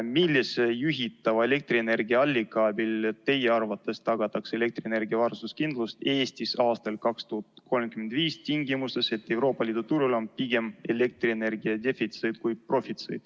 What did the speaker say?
Millise juhitava elektrienergia allika abil teie arvates tagatakse elektrienergia varustuskindlus Eestis 2035. aastal tingimustes, kus Euroopa Liidu turul on pigem elektrienergia defitsiit kui profitsiit?